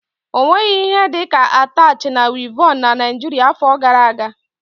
Ọ nweghị ihe dị ka atach na wịevọn na Naijiria afọ gara aga.